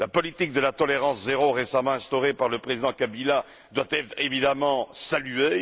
La politique de la tolérance zéro récemment instaurée par le président Kabila doit être évidemment saluée.